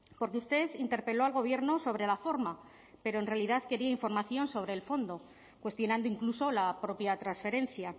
porque usted interpeló al gobierno sobre la forma pero en realidad quería información sobre el fondo cuestionando incluso la propia transferencia